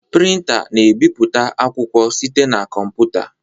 Printá na-ebipụta akwụkwọ site na kọmputa.